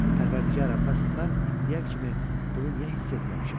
Pərvərdigara, məhz mən indiyə kimi bunu niyə hiss etməmişəm?